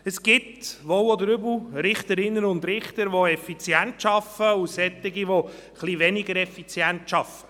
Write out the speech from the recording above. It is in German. Es gibt, wohl oder übel, Richterinnen und Richter, die effizient arbeiten und solche, die etwas weniger effizient arbeiten.